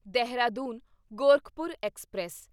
Dehradun Gorakhpur express